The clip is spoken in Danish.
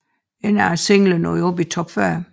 Ingen af singlerne nåede ind i top 40